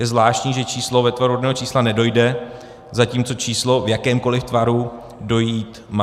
Je zvláštní, že číslo ve tvaru rodného čísla nedojde, zatímco číslo v jakémkoli tvaru dojít má.